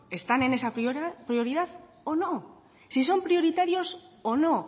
están en esa prioridad o no sin son prioritarios o no